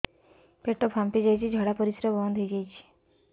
ପେଟ ଫାମ୍ପି ଯାଇଛି ଝାଡ଼ା ପରିସ୍ରା ବନ୍ଦ ହେଇଯାଇଛି